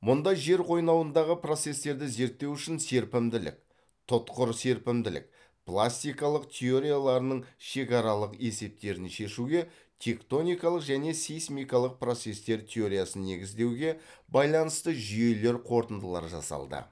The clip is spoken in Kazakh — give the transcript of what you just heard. мұнда жер қойнауындағы процестерді зерттеу үшін серпімділік тұтқыр серпімділік пластикалық теорияларының шекаралық есептерін шешуге тектоникалық және сейсмикалық процестер теориясын негіздеуге байланысты жүйелер қорытындылар жасалды